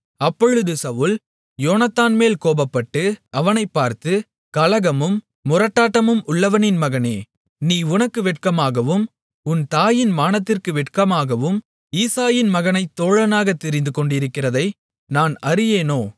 அப்பொழுது சவுல் யோனத்தான்மேல் கோபப்பட்டு அவனைப் பார்த்து கலகமும் முரட்டாட்டமும் உள்ளவளின் மகனே நீ உனக்கு வெட்கமாகவும் உன் தாயின் மானத்திற்கு வெட்கமாகவும் ஈசாயின் மகனைத் தோழனாகத் தெரிந்து கொண்டிருக்கிறதை நான் அறியேனோ